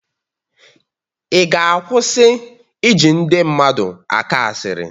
Ị ga-akwụsị ịja ndị mmadụ akọ asịrị?